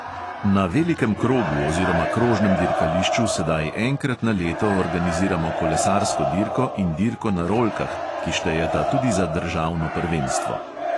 Na velikem krogu oziroma krožnem dirkališču sedaj enkrat na leto organiziramo kolesarsko dirko in dirko na rolkah, ki štejeta tudi za državno prvenstvo.